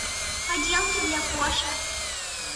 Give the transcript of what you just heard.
поделки для кошек